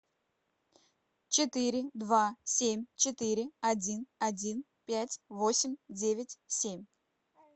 четыре два семь четыре один один пять восемь девять семь